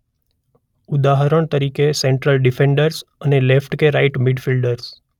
ઉદાહરણ તરીકે central defenders અને લેફ્ટ કે રાઇટ મિડફિલ્ડર્સ.